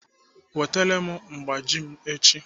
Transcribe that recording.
Wetere m mgbaji m echi!